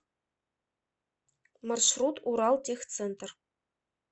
маршрут уралтехцентр